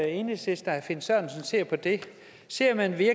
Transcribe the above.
enhedslisten og herre finn sørensen ser på det ser man det